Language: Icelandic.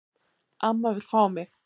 Amma vill fá mig.